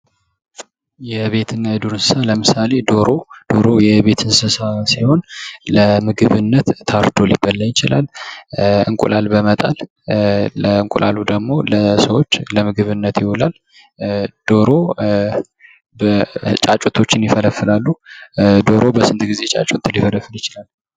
የቤትና የዱር እንስሳ ለምሳሌ ዶሮ ዶሮ የቤት እንስሳ ሲሆን ለምግብነት ታርዶ ሊበላ ይችላል፣ እንቁላል በመጣል እንቁላሉ ደግሞ ለሰዎች ለምግብነት ይውላል። ዶሮ ጫጩቶችን ይፈለፍላሉ። ዶሮ በስንት ጌዜ ጫጩት ሊፈለፍል ይችላል?